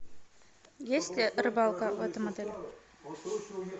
есть ли рыбалка в этом отеле